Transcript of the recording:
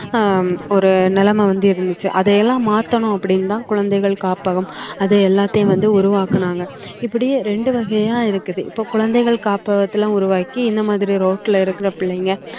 ஆஹ் ஒரு நிலைமை வந்து இருந்துச்சு அதை எல்லாம் மாத்தணும் அப்படின்னுதான் குழந்தைகள் காப்பகம் அதை எல்லாத்தையும் வந்து உருவாக்குனாங்க இப்படி ரெண்டு வகையா இருக்குது இப்ப குழந்தைகள் காப்பகத்தலாம் உருவாக்கி இந்த மாதிரி ரோட்ல இருக்கிற பிள்ளைங்க